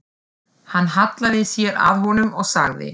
Hann hallaði sér að honum og sagði